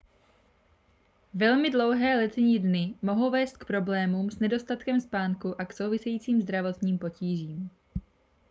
velmi dlouhé letní dny mohou vést k problémům s nedostatkem spánku a k souvisejícím zdravotním potížím